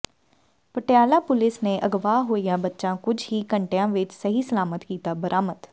Patiala police ਨੇ ਅਗਵਾ ਹੋਇਆ ਬੱਚਾ ਕੁੱਝ ਹੀ ਘੰਟਿਆਂ ਵਿਚ ਸਹੀ ਸਲਾਮਤ ਕੀਤਾ ਬਰਾਮਦ